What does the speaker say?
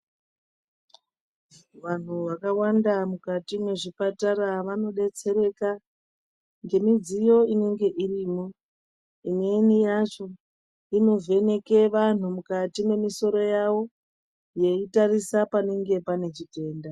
Vantu vakawanda mukati mwezvipatara vanodetsereka, ngemidziyo inenge irimo. Imweni yacho, inovheneke vantu mukati mwemisoro yavo, yeitarisa panenge pane chitenda.